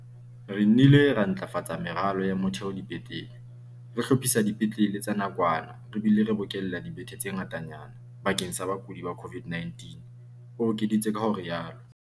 "Re nnile ra ntlafatsa meralo ya motheo dipetlele, re hlophisa dipetlele tsa nakwana re bile re bokella dibethe tse ngatanyana bakeng sa bakudi ba COVID-19," o ekeditse ka ho rialo.